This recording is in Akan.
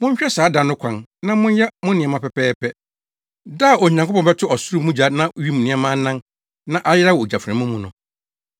Monhwɛ saa da no kwan na monyɛ mo nneɛma pɛpɛɛpɛ; da a Onyankopɔn bɛto ɔsoro mu gya na wim nneɛma anan na ayera wɔ ogyaframa mu no.